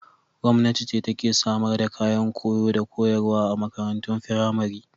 Gwamnati ce take samar da kayan koyo da koyarwa a makarantun firamari.